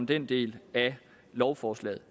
den del af lovforslaget